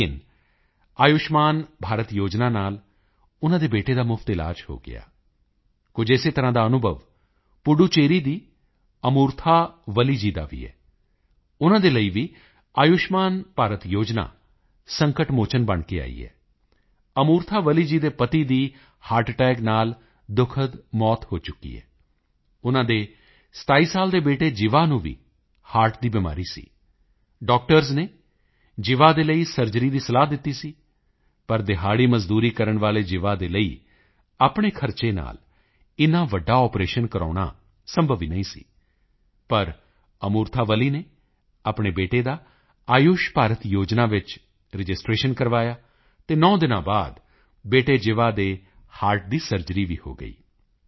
ਲੇਕਿਨ ਆਯੁਸ਼ਮਾਨ ਭਾਰਤ ਯੋਜਨਾ ਨਾਲ ਉਨ੍ਹਾਂ ਦੇ ਬੇਟੇ ਦਾ ਮੁਫ਼ਤ ਇਲਾਜ ਹੋ ਗਿਆ ਕੁਝ ਇਸੇ ਤਰ੍ਹਾਂ ਦਾ ਅਨੁਭਵ ਪੁੱਡੂਚੇਰੀ ਦੀ ਅਮੂਰਥਾ ਵੱਲੀ ਜੀ ਦਾ ਵੀ ਹੈ ਉਨ੍ਹਾਂ ਦੇ ਲਈ ਵੀ ਆਯੁਸ਼ਮਾਨ ਭਾਰਤ ਯੋਜਨਾ ਸੰਕਟ ਮੋਚਨ ਬਣ ਕੇ ਆਈ ਹੈ ਅਮੂਰਥਾ ਵੱਲੀ ਜੀ ਦੇ ਪਤੀ ਦੀ ਹਰਟ ਅਟੈਕ ਨਾਲ ਦੁਖਦ ਮੌਤ ਹੋ ਚੁੱਕੀ ਹੈ ਉਨ੍ਹਾਂ ਦੇ 27 ਸਾਲ ਦੇ ਬੇਟੇ ਜੀਵਾ ਨੂੰ ਵੀ ਹਰਟ ਦੀ ਬਿਮਾਰੀ ਸੀ ਡਾਕਟਰਜ਼ ਨੇ ਜੀਵਾ ਦੇ ਲਈ ਸਰਜਰੀ ਦੀ ਸਲਾਹ ਦਿੱਤੀ ਸੀ ਲੇਕਿਨ ਦਿਹਾੜੀ ਮਜ਼ਦੂਰੀ ਕਰਨ ਵਾਲੇ ਜੀਵਾ ਦੇ ਲਈ ਆਪਣੇ ਖਰਚੇ ਨਾਲ ਇੰਨ੍ਹਾ ਵੱਡਾ ਆਪਰੇਸ਼ਨ ਕਰਵਾਉਣਾ ਸੰਭਵ ਹੀ ਨਹੀਂ ਸੀ ਪਰ ਅਮੂਰਥਾ ਵੱਲੀ ਨੇ ਆਪਣੇ ਬੇਟੇ ਦਾ ਆਯੁਸ਼ਮਾਨ ਭਾਰਤ ਯੋਜਨਾ ਵਿੱਚ ਰਜਿਸਟ੍ਰੇਸ਼ਨ ਕਰਵਾਇਆ ਅਤੇ 9 ਦਿਨਾਂ ਬਾਅਦ ਬੇਟੇ ਜੀਵਾ ਦੇ ਹਰਟ ਦੀ ਸਰਜਰੀ ਵੀ ਹੋ ਗਈ